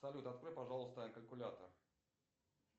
салют открой пожалуйста калькулятор